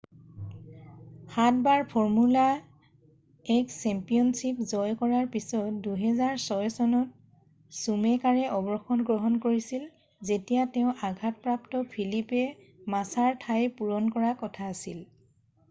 সাতবাৰ formula 1 championship জয় কৰাৰ পিছত 2006 চনত চুমেকাৰে অৱসৰ গ্ৰহণ কৰিছিল যেতিয়া তেঁও আঘাতপ্ৰাপ্ত ফিলিপে মাছাৰ ঠাই পূৰণ কৰা কথা আছিল